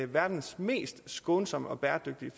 verdens mest skånsomme og bæredygtige